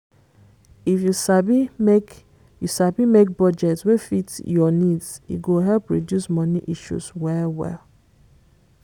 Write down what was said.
if you sabi make you sabi make budget wey fit your needs e go help reduce money issues well well